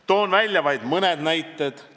Toon välja vaid mõned näited.